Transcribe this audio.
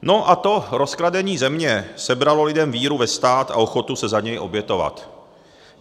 No, a to rozkradení země sebralo lidem víru ve stát a ochotu se za něj obětovat.